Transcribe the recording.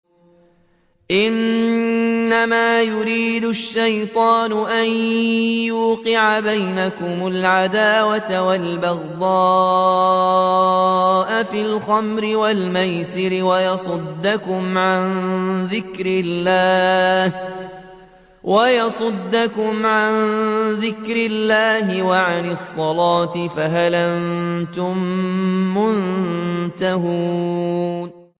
إِنَّمَا يُرِيدُ الشَّيْطَانُ أَن يُوقِعَ بَيْنَكُمُ الْعَدَاوَةَ وَالْبَغْضَاءَ فِي الْخَمْرِ وَالْمَيْسِرِ وَيَصُدَّكُمْ عَن ذِكْرِ اللَّهِ وَعَنِ الصَّلَاةِ ۖ فَهَلْ أَنتُم مُّنتَهُونَ